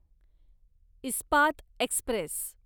Ispat Express